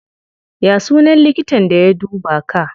Ya sunan likitan da ya duba ka?